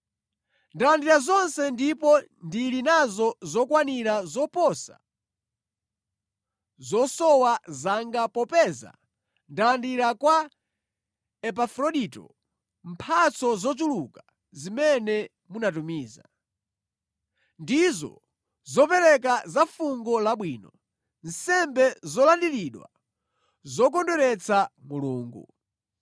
Ndalandira zonse ndipo ndili nazo zokwanira zoposa zosowa zanga popeza ndalandira kwa Epafrodito mphatso zochuluka zimene munatumiza. Ndizo zopereka za fungo labwino, nsembe zolandiridwa zokondweretsa Mulungu.